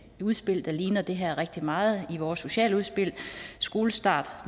udspil der ligner det her rigtig meget nemlig vores sociale udspil skolestart